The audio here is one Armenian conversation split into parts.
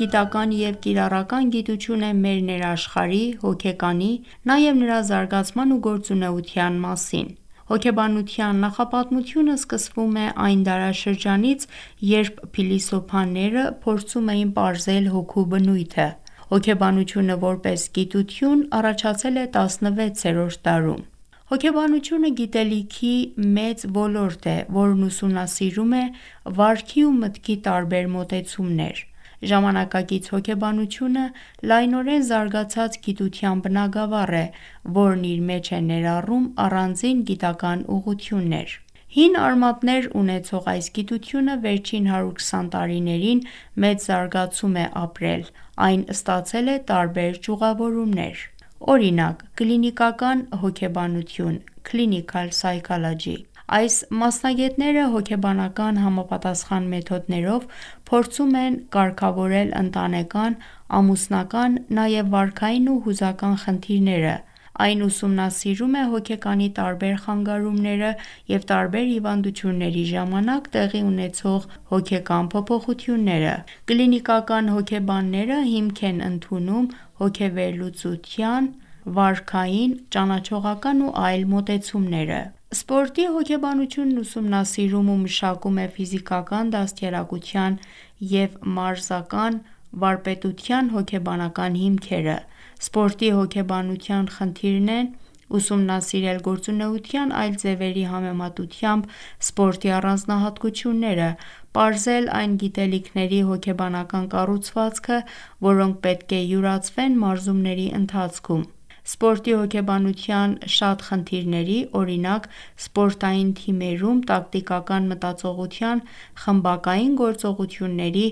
գիտական և կիրառական գիտություն է մեր ներաշխարհի ՝ հոգեկանի, նաև նրա զարգացման ու գործունեության մասին ։ Հոգեբանության նախապատմությունը սկսվում է այն դարաշրջանից, երբ փիլիսոփաները փորձում էին պարզել հոգու բնույթը։ Հոգեբանությունը ՝ որպես գիտություն առաջացել է 16-րդ դարում։ Հոգեբանությունը գիտելիքի մեծ ոլորտ է, որն ուսումնասիրում է վարքի ու մտքի տարբեր մոտեցումներ։ Ժամանակակից հոգեբանությունը լայնորեն զարգացած գիտության բնագավառ է, որն իր մեջ է ներառում առանձին գիտական ուղղություններ։ Հին արմատներ ունեցող այս գիտությունը վերջին 120 տարիներին մեծ զարգացում է ապրել: Այն ստացել է տարբեր ճյուղավորումներ: Կլինիկական հոգեբանություն (clinical Psycholog) Այս մասնագետները հոգեբանական համապատասխան մեթոդներով փորձում են կարգավորել ընտանեկան, ամուսնական, նաև վարքային ու հուզական խնդիրները :Այն ուսումնասիրում է հոգեկանի տարբեր խանգարումները և տարբեր հիվանդությունների ժամանակ տեղի ունեցող հոգեկան փոփոխությունները: Կլինիկական հոգեբանները հիմք են ընդունում հոգեվերլուծության, վարքային, ճանաչողական ու այլ մոտեցումները: Սպորտի հոգեբանությունն ուսումնասիրում ու մշակում է ֆիզիկական, դաստիարակության և մարզական վարպետության հոգեբանական հիմքերը։ Սպորտի հոգեբանության խնդիրներն են՝ ուսումնասիրել գործունեության այլ ձևերի համեմատությամբ սպորտի առանձնահատկությունները, պարզել այն գիտելիքների հոգեբանական կառուցվածքը, որոնք պետք է յուրացվեն մարզումների ընթացքում։ Սպորտի հոգեբանության շատ խնդիրների, օրինակ ՝ սպորտային թիմերում տակտիկական մտածողության խմբակային գործողոuթյունների,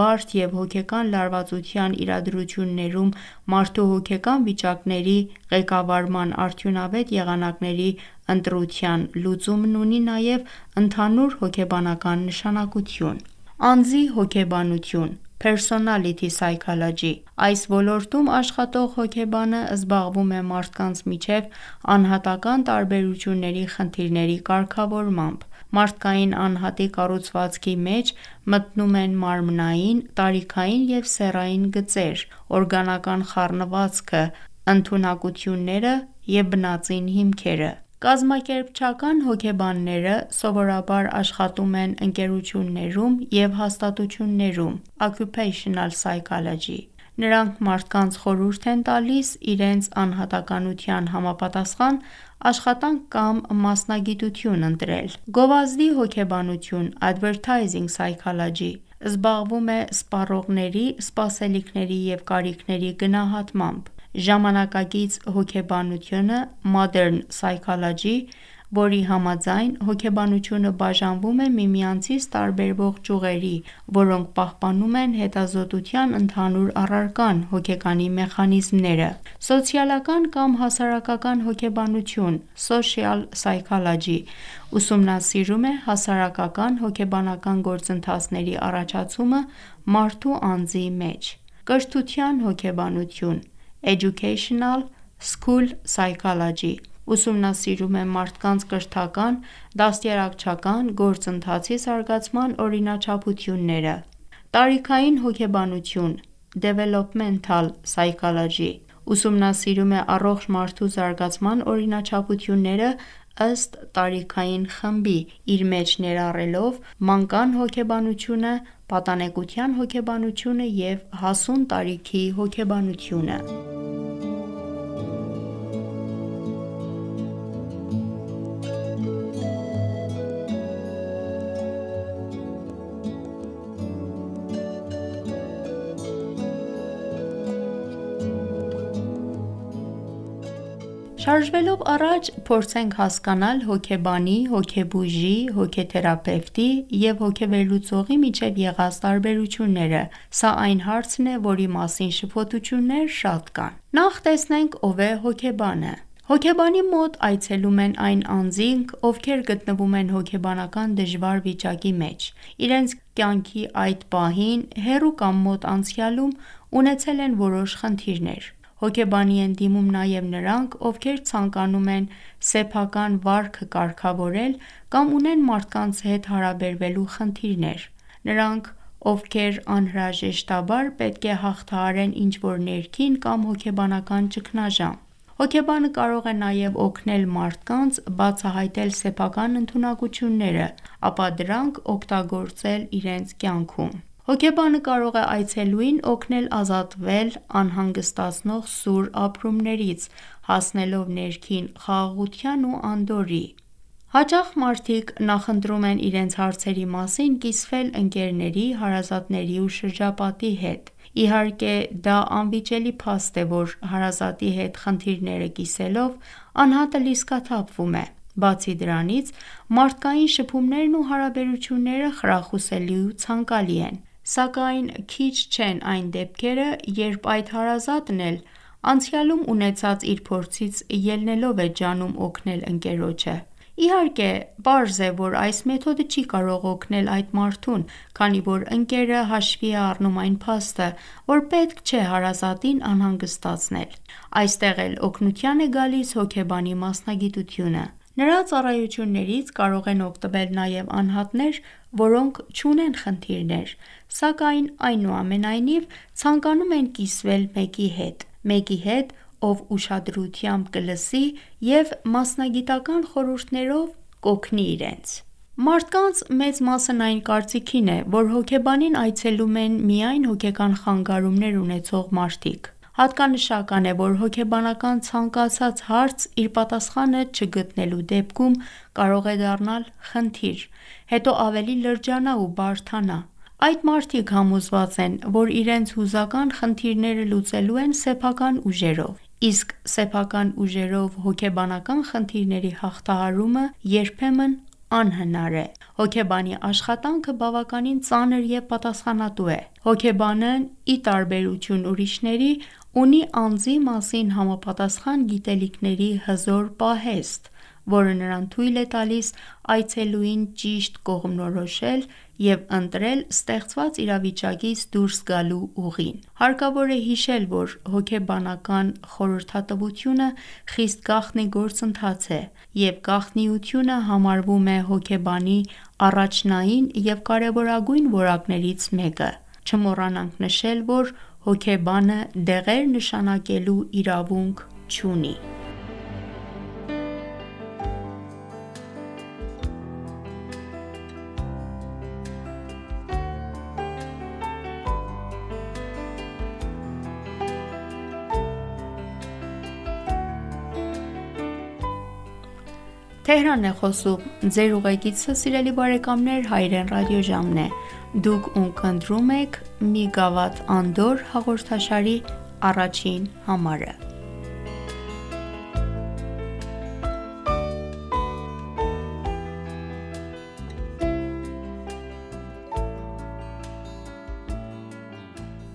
բարդ և հոգեկան լարվածության իրադրություններում մարդու հոգեկան վիճակների ղեկավարման արդյունավետ եղանակների ընտրության լուծումն ունի նաև ընդհանուր հոգեբանական նշանակություն։ Անձի հոգեբանություն - personality Psychology Այս ոլորտում աշխատող հոգեբանը զբաղվում է մարդկանց միջև անհատական տարբերությունների խնդիրների կարգավորմամբ: Մարդկային անհատի կառուցվածքի մեջ մտնում են մարմնային, տարիքային և սեռային գծեր, օրգանական խառնվածքը, ընդունակությունները, բնածին հիմքերը ։ Կազմակերպչական հոգեբանները occupational psychology սովորաբար աշխատում են ընկերություններում և հաստատություններում: Նրանք մարդկանց խորհուրդ են տալիս իրենց անհատականության համապատասխան աշխատանք կամ մասնագիտություն ընտրել: Գովազդի հոգեբանությունը advertising psychology զբաղվում է սպառողների սպասելիքների և կարիքների գնահատմամբ։ Ժամանակակից հոգեբանությանը modern psychology, որի համաձայն հոգեբանությունը բաժանվում է միմյանցից տարբերվող ճյուղերի, որոնք պահպանում են հետազոտության ընդհանուր առարկան՝ հոգեկանի մեխանիզմները։ Սոցիալական կամ հասարակական հոգեբանությունը social psychology ուսումնասիրում է հասարակական -հոգեբանական գործընթացների առաջացումը մարդու անձի մեջ: Կրթության հոգեբանությունը educational – school psychology ուսումնասիրում է մարդկանց կրթական, դաստիարակչական գործընթացի զարգացման օրինաչափությունները։ Տարիքային հոգեբանությունը Developmental psychology ուսումնասիրում է առողջ մարդու զարգացման օրինաչափությունները ըստ տարիքային խմբի՝ իր մեջ ներառելով մանկան հոգեբանությունը, պատանեկության հոգեբանությունը և հասուն տարիքի հոգեբանությունը Հոգեբանի, հոգեբույժի, հոգեթերապևտի և հոգեվերլուծողի միջև եղած տարբերությունները: Ո՞վ է հոգեբանը: Հոգեբանի մոտ այցելում են այն անձինք, ովքեր գտնվում են հոգեբանական դժվար վիճակի մեջ, իրենց կյանքի այդ պահին, հեռու կամ մոտ անցյալում ունեցել են որոշ խնդիրներ: Հոգեբանի են դիմում նաև նրանք, ովքեր ցանկանում են սեփական վարքը կարգավորել, կամ ունեն մարդկանց հետ հարաբերվելու խնդիրներ, նրանք ովքեր անհրաժեշտաբար պետք է հաղթահարեն ինչ-որ ներքին կամ հոգեբանական ճգնաժամ: Հոգեբանը կարող է նաև օգնել մարդկանց բացահայտել սեփական ընդունակություններն, ապա դրանք օգտագործել իրենց կյանքում: Հոգեբանը կարող է այցելուին օգնել ազատվել անհանգստացնող սուր ապրումներից ՝ հասնելով ներքին խաղաղության ու անդորրի: Հաճախ մարդիկ նախընտրում են իրենց հարցերի մասին կիսվել ընկերների, հարազատների ու շրջապատի հետ: Ի հարկե դա անվիճելի փաստ է, որ հարազատի հետ խնդիրները կիսելով, անհատը լիցքաթափվում է, բացի դրանից մարդկային շփումներն ու հարաբերությունները խրախուսելի ու ցանկալի են: Սակայն քիչ չեն այդ դեպքերը, երբ այդ հարազատն էլ անցյալում ունեցած իր փորձից ելնելով է ջանում օգնել ընկերոջը: Ի հարկե պարզ է, որ այս մեթոդը չի կարող օգնել այդ մարդուն, քանի որ ընկերը հաշվի է առնում այն փաստը, որ պետք չէ հարազատին անհանգստացնել: Այստեղ էլ օգնության է գալիս հոգեբանի մասնագիտությունը: Նրա ծառայություններից կարող են օգտվել նաև անհատներ, որոնք չունեն խնդիրներ, սակայն այնուամենայնիվ ցանկանում են կիսվել մեկի հետ: Մեկի հետ ով ուշադրությամբ կլսի և մասնագիտական խորհուրդներով կօգնի իրենց: Մարդկանց մեծ մասն այն կարծիքին է, որ հոգեբանին այցելում են միայն հոգեկան խանգարումներ ունեցող մարդիկ: Հատկանշական է, որ հոգեբանական ցանկացած հարց իր պատասխանը չգտնելու դեպքում, կարող է դառնալ խնդիր, հետո ավելի լրջանա ու բարդանա: Այդ մարդիկ համոզված են, որ իրենց հուզական խնդիրները լուծելու են սեփական ուժերով, իսկ սեփական ուժերով հոգեբանական խնդիրների հաղթահարումը երբեմն անհնար է: Հոգեբանի աշխատանքը բավականին ծանր և պատասխանատու է: Հոգեբանն, ի տարբերություն ուրիշների, ունի անձի մասին համապատասխան գիտելիքների հզոր պահեստ, որը նրան թուլ է տալիս այցելուին ճիշտ կողմնորոշել և ընտրել ստեղծված իրավիճակից դուրս գալու ուղին: Հարկավոր է հիշել, որ հոգեբանական խորհրդատվությունը խիստ գաղտնի գործընթաց է, և գաղտնիությունը համարվում է հոգեբանի առաջնային և կարևորագույն որակներից մեկը: Չմոռանանք նշել, որ հոգեբանը դեղեր նշանակելու իրավունք չունի: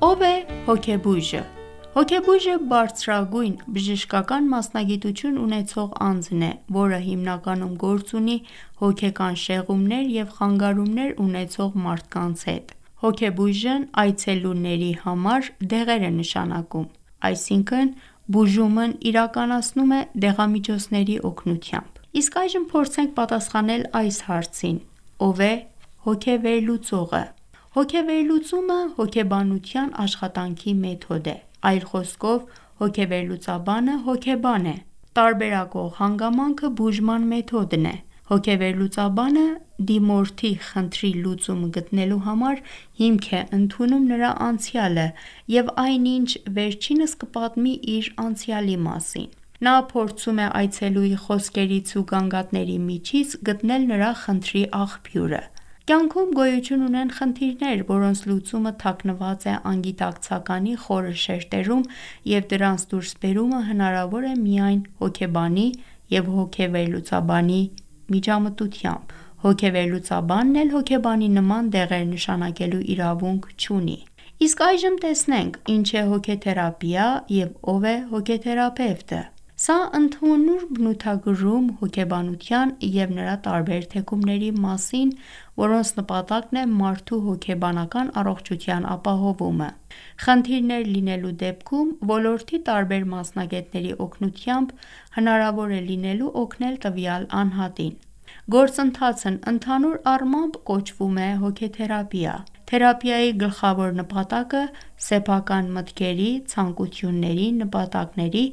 Ո՞վ է հոգեբույժը: Հոգեբույժը բարձրագույն բժշկական մասնագիտություն ունեցող անձն է, որը հիմնականում գործ ունի հոգեկան շեղումներ և խանգարումներ ունեցող մարդկանց հետ: Հոգեբույժն այցելուների համար դեղեր է նշանակում: Բուժումն իրականացնում է դեղամիջոցների օգնությամբ: Ո՞վ է hոգեվերլուծողը: Հոգեվերլուծումը հոգեբանության աշխատանքի մեթոդ է: Այլ խոսքով, հոգեվերլուծաբանը հոգեբան է: Տարբերակող հանգամանքը բուժման մեթոդն է: Հոգեվերլուծաբանը դիմորդի խնդրի լուծում գտնելու համար, հիմք է ընդունում նրա անցյալը և այն ինչ վերջինս կպատմի իր անցյալի մասին: Նա փորձում է այցելուի խոսքերից ու գանգատների միջից գտնել նրա խնդրի աղբյուրը: Կյանքում գոյություն ունեն խնդիրներ, որոնց լուծումը թաքնված է անգիտակցականի խորը շերտերում և դրանց դուրս բերումը հնարավոր է միայն հոգեբանի և հոգեվերլուծաբանի միջամտությամբ: Հոգեվերլուծաբանն էլ հոգեբանի նման դեղեր նշանակելու իրավունք չունի: Ի՞նչ է հոգեթերապիա և ո՞վ է հոգեթերապևտը: Հոգեբանության տարբեր թեքումների նպատակն է մարդու հոգեբանական առողջության ապահովումը: Խնդիրներ լինելու դեպքում, ոլորտի տարբեր մասնագետների օգնությամբ հանրավոր է լինելու օգնել տվյալ անհատին: Գործընթացն ընդհանուր առմամբ կոչվում է «Հոգեթերապիա»: Թերապիայի գլխավոր նպատակը սեփական մտքերի, ցանկությունների, նպատակների,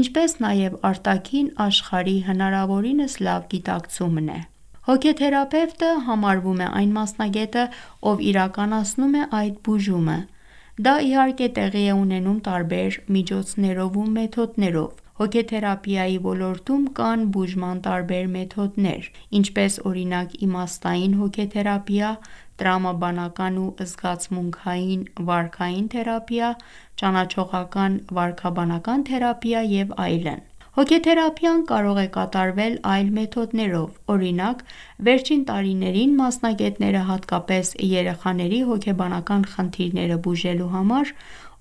ինչպես նաև արտաքին աշխարհի հնարավորինս լավ գիտակցումն է ։ Հոգեթերապևտը համարվում է այն մասնագետը, ով իրականացնում է այդ բուժումը: Դա ի հարկե տեղի է ունենում տարբեր միջոցներով ու մեթոդներով: Հոգեթերապիայի ոլորտում կան բուժման տարբեր մեթոդներ, ինչպես օրինակ իմաստային հոգեթերապիա, տրամաբանական ու զգացմունքային վարքային թերապիա, ճանաչողական վարքաբանական թերապիա և այլն: Հոգեթերապիան կարող է կատարվել այլ մեթոդներով, օրինակ վերջին տարիներին մասնագետները հատկապես երեխաների հոգեբանական խնդիրները բուժելու համար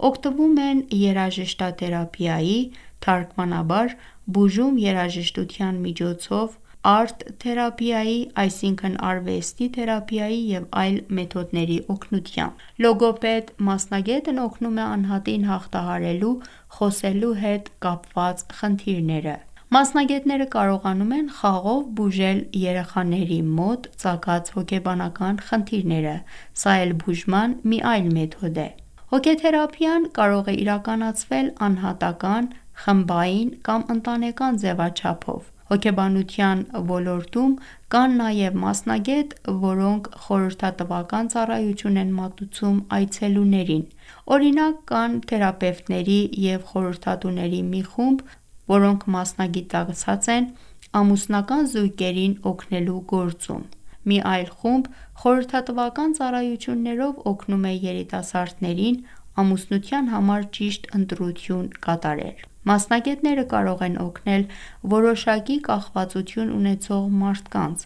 օգտվում են երաժշտաթերապիայի ՝ թարգմանաբար «բուժում երաժշտության միջոցով», արտ-թերապիայի ՝ այսինքն արվեստի թերապիայի և այլ մեթոդների օգնությամբ: Լոգոպեդ մասնագետն օգնում է անհատին հաղթահարելու խոսելու հետ կապված խնդիրները: Մասնագետները կարողանում են խաղով բուժել երեխաների մոտ ծագած հոգեբանական խնդիրները: Հոգեթերապիան կարող է իրականացվել անհատական, խմբային կամ ընտանեկան ձևաչափով: Հոգեբանության ոլորտում կան նաև մասնագետներ, որոնք խորհրդատվական ծառայություն են մատուցում այցելուներին: Օրինակ կան թերապևտների և խորհրդատուների մի խումբ մասնագիտացած են ամուսնական զույգերին օգնելու գործում: Մի այլ խումբ խորհրդատվական ծառայություններով օգնում է երիտասարդներին ՝ ամուսնության համար ճիշտ ընտրություն կատարել: Մասնագետները կարող են օգնել որոշակի կախվածություն ունեցող մարդկանց